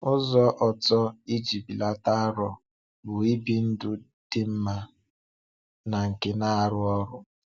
Ụ́zọ̀ ọ̀tọ̀ iji belata arọ bụ ibi ndụ̀ dị mma na nke na-arụ ọrụ.